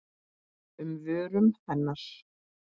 um vörum hennar.